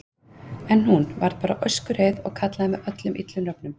En hún. varð bara öskureið og kallaði mig öllum illum nöfnum.